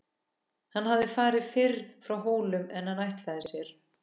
Hann hafði farið fyrr frá Hólum en hann ætlaði sér.